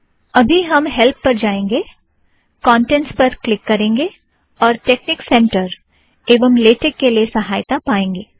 अबी हम हैल्प पर जाएंगे कोन्टेंट्स पर क्लिक करेंगे और टेकनिक सेंटर एवं लेटेक के लिए सहायता पाएंगे